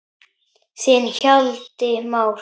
Þinn Hjalti Már.